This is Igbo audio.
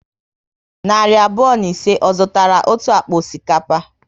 Narị abụọ na ise, ọ zụtara otu akpa osikapa?